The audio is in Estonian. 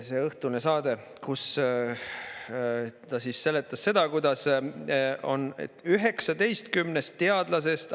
See õhtune saade, kus ta seletas seda, kuidas 19 teadlasest …